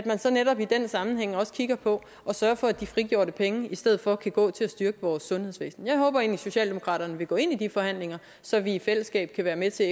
kigge på og sørge for at de frigjorte penge i stedet for kan gå til at styrke vores sundhedsvæsen jeg håber egentlig at socialdemokratiet vil gå ind i de forhandlnger så vi i fællesskab kan være med til